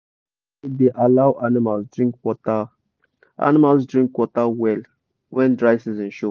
correct shade da allow animals drink water animals drink water well when dry season show